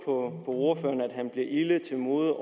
ordføreren at han bliver ilde til mode